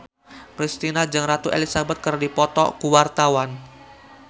Kristina jeung Ratu Elizabeth keur dipoto ku wartawan